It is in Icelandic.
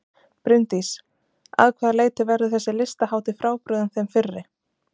Bryndís: Að hvaða leyti verður þessi listahátíð frábrugðin þeim fyrri?